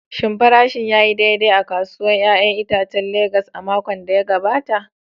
Shin farashin ya yi daidai a kasuwar 'ya'yan itacen Legas a makon da ya gabata?